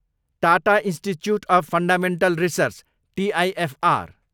Tata Institute of Fundamental Research, TIFR